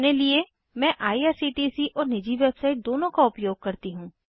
अपने लिये मैं आईआरसीटीसी और निजी वेबसाइट दोनों का उपयोग करती हूँ